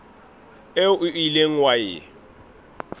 eo o ileng wa e